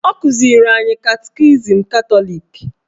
Ọ kụziri anyị katikizim Katọlik